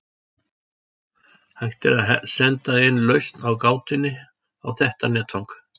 Hægt er að senda inn lausn á gátunni á þetta netfang.